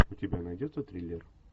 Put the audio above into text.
у тебя найдется триллер